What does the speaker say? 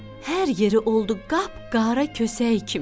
Hər yeri oldu qapqara kösəyi kimi.